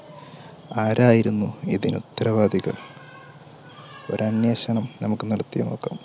ആരായിരുന്നു ഇതിന് ഉത്തരവാദികൾ ഒരു അന്വേഷണം നമുക്ക് നടത്തി നോക്കാം.